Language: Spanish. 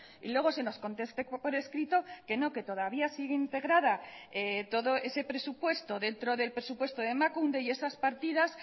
y luego se nos conteste por escrito que no que todavía sigue integrada todo ese presupuesto dentro del presupuesto de emakunde y esas partidas